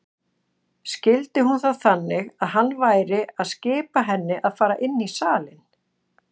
Skildi hún það þannig að hann væri að skipa henni að fara inn í salinn?